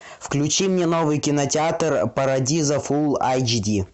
включи мне новый кинотеатр парадиза фул айч ди